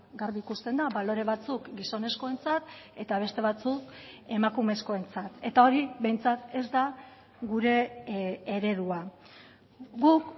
garbi ikusten da balore batzuk gizonezkoentzat eta beste batzuk emakumezkoentzat eta hori behintzat ez da gure eredua guk